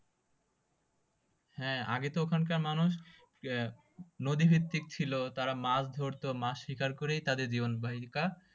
হ্যাঁ আগে তো ওখানকার মানুষ আহ নদী ভিত্তিক ছিল তারা মাছ ধরতো মাছ শিকার করেই তাদের জীবন